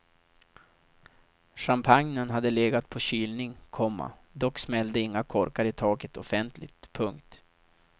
Champagnen hade legat på kylning, komma dock smällde inga korkar i taket offentligt. punkt